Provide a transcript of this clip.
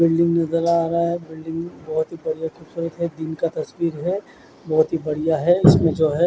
building नजर आ रहा है बिल्डिंग बहोत ही बढ़िया खूबसूरत है दिन का तस्वीर है बहोत ही बढ़िया है इसमें जो है--